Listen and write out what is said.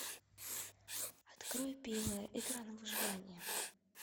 открой пила игра на выживание